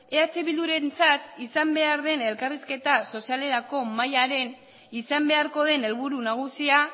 eh bildurentzat izan behar den elkarrizketa sozialerako mahaiaren izan beharko den helburu nagusia